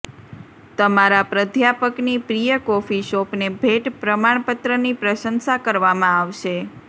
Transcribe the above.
તમારા પ્રાધ્યાપકની પ્રિય કોફી શોપને ભેટ પ્રમાણપત્રની પ્રશંસા કરવામાં આવશે